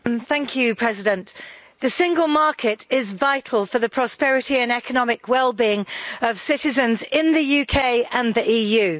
Mr President, the Single Market is vital for the prosperity and economic well being of citizens in the UK and the EU.